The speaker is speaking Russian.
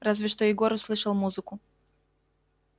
разве что егор услышал музыку